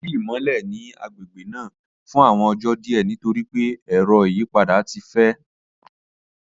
Ko si imọlẹ ni agbegbe naa fun awọn ọjọ diẹ nitori pe ẹrọ iyipada ti fẹ.